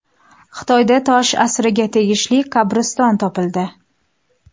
Xitoyda tosh asriga tegishli qabriston topildi.